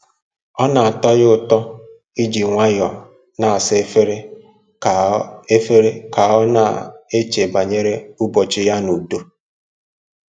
Ọ na-atọ ya ụtọ iji nwayọọ na-asa efere ka ọ efere ka ọ na-eche banyere ụbọchị ya n'udo